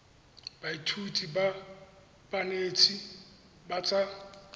baithuti ba banetshi ba tsa